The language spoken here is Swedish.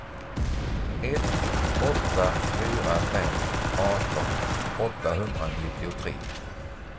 ett åtta fyra fem arton åttahundranittiotre